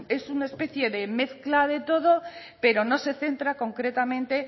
es una especie de mezcla de todo pero no se centra concretamente